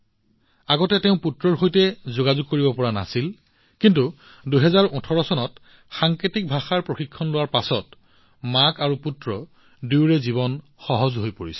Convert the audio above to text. আগতে তেওঁ নিজৰ পুত্ৰৰ সৈতে কথা পাতিব নোৱাৰিছিল কিন্তু ২০১৮ চনত সাংকেতিক ভাষাৰ প্ৰশিক্ষণ লোৱাৰ পিছত মাতৃ আৰু পুত্ৰ দুয়োৰে জীৱন সহজ হৈ পৰিছে